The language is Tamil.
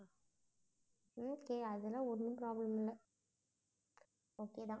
okay அதெல்லாம் ஒண்ணும் problem இல்ல okay தான்.